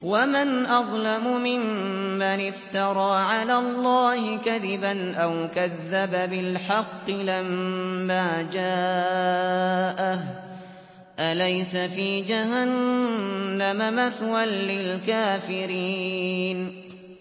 وَمَنْ أَظْلَمُ مِمَّنِ افْتَرَىٰ عَلَى اللَّهِ كَذِبًا أَوْ كَذَّبَ بِالْحَقِّ لَمَّا جَاءَهُ ۚ أَلَيْسَ فِي جَهَنَّمَ مَثْوًى لِّلْكَافِرِينَ